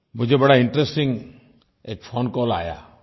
मुझे एक बड़ा इंटरेस्टिंग फोन कॉल आया